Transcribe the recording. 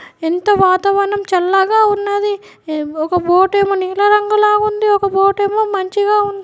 ఎంతో వాతావరణం చాలా చల్లగా ఉన్నది. ఒక బోటు ఏమో నిల్ల రంగు గా ఉంది .ఒక బోటు ఏమో మంచిగా ఉంది.